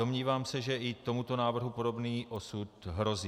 Domnívám se, že i tomuto návrhu podobný osud hrozí.